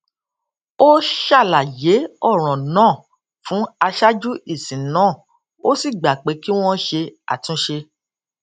ó ṣàlàyé òràn náà fún aṣáájú ìsìn náà ó sì gbà pé kí wón ṣe àtúnṣe